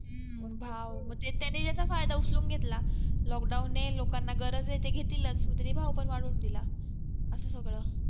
हा भाव मंग त्यांनी त्याचा फायदा उचलून घेतला lockdown आहे लोकांना गरज असेल तर घेतीलच उदरी भाव पण असं सगळं